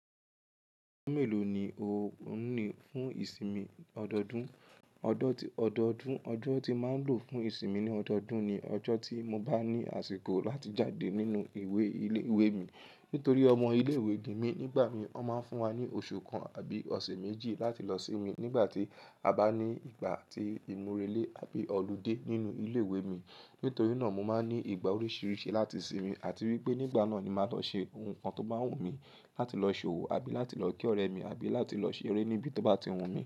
Ọjọ́ mélòó ni o ń ní fún ìsinmi ọdọọdún? Ọdọọdún, ọjọ́ tí máa ń lò fún ìsinmi ní ọdọọdún ni ọjọ́ tí mo bá ní àsìkò láti jáde nínú ìwé ìlé ìwé mi. Nítorí ọmọ ilé ìwé ni mi nígbà mí, wọn máa ń fún wa ní oṣù kan àbí ọ̀sẹ̀ méjì láti lọ sinmi nígbà tí a bá ní ìgbà atí ìmúrelé àbí ọludé nínú ilé ìwé mi. Nítorí náà mo máa ní ìgbà oríṣiríṣi láti sinmi àti wípé nígbà náà ni màá lọ ṣe ohun tó bá wù mí, láti lọ ṣòwò àbí láti lọ kí ọ̀rẹ́ mi àbí láti lọ ṣeré níbi tó bá ti wù mí.